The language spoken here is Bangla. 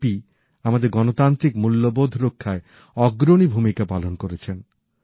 জেপি আমাদের গণতান্ত্রিক মূল্যবোধ রক্ষায় অগ্রণী ভূমিকা পালন করেছেন